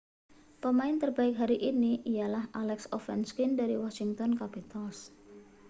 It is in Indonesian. pemain terbaik hari ini ialah alex ovechkin dari washington capitals